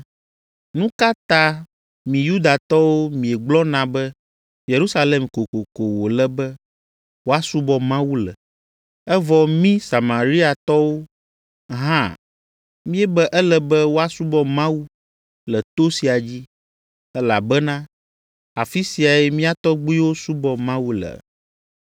Nu ka ta mi Yudatɔwo miegblɔna be Yerusalem kokoko wòle be woasubɔ Mawu le, evɔ mí Samariatɔwo hã míebe ele be woasubɔ Mawu le to sia dzi, elabena afi siae mía tɔgbuiwo subɔ Mawu le?”